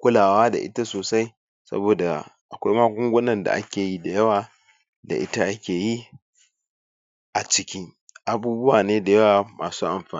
kulawa da ita sosai saboda akwai magungunan da ake yi da yawa da ita ake yi a ciki abubuwane da yawa ma su amfani.